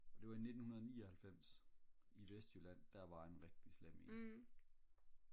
det var i 1999 i vestjylland der var en rigtig slem en